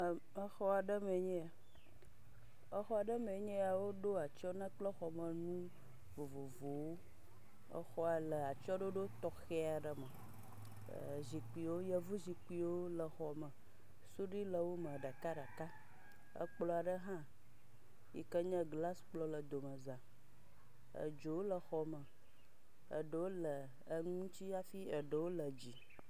Exɔ aɖe mee nye eya, exɔ aɖe mee nye eya woɖo atsyɔ̃ na kple xɔmenu vovovowo, exɔa le atsyɔ̃ɖoɖo tɔxɛ aɖe me, ee zikpuiwo, yevuzikpuiwo le xɔme, suɖui le wome ɖekaɖeka. Ekplɔ aɖe hã yi ke nye glase kplɔ hã le domeza, edzowo le exɔme, eɖewo le enu ŋutsi hafi ɖewo le dzi.